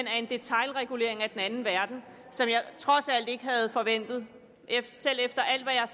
er en detailregulering af den anden verden som jeg trods alt ikke havde forventet selv efter alt hvad jeg